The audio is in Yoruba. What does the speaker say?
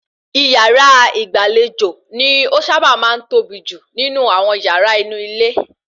Ìyàrá ìgbàlejò ni ó sábà máa ń tóbi jù nínú àwon yàra inú ilé